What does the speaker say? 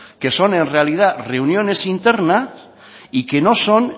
que son en realidad reuniones internas y que no son